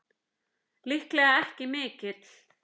Líklega ekki mikill!